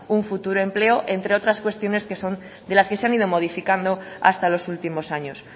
un futuro empleo entre otras cuestiones que son de las que se han ido modificando hasta los últimos años